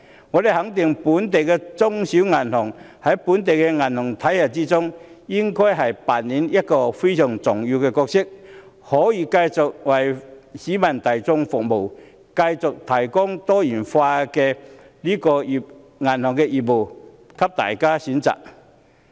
我肯定本地的中小型銀行在本地的銀行體系中扮演非常重要的角色，繼續為市民大眾服務，提供多元化的銀行業務，供大家選擇。